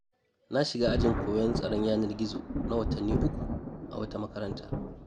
Na shiga ajin koyon tsaron yanar-gizo na watanni 3, a wata makaranta.